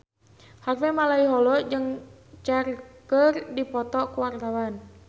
Harvey Malaiholo jeung Cher keur dipoto ku wartawan